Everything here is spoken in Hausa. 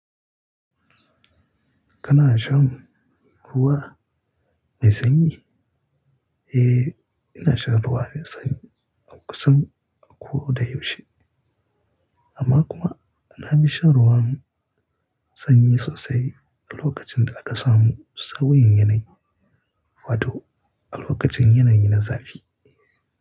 Kana shan ruwa mai sanyi? Eh, ina shan ruwa mai sanyi kusan a ko da yaushe. Amma kuma na fi shan ruwan sanyi sosai a lokacin da aka samu sauyin yanayi, wato a lokacin yanayi na zafi.